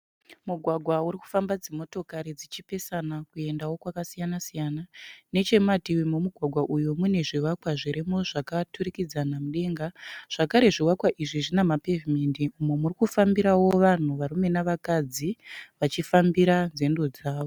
Mugwagwa uri kufamba dzimotikari dzichipesana kuendawo kwakasiyana-siyana. Nechemumativi memugwagwa uyu mune zvivakwa zvirimo zvakaturikidzana mudenga. Zvakare zvivakwa izvi zvina mapevhinendi umo muri kufambirawo vanhu varume navakadzi vachifambira nzendo dzavo.